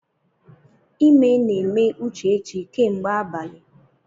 Ime na-eme Uchechi kemgbe abalị.